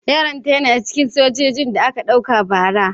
Yaron ta yana cikin sojojin da aka ɗauka aiki bara.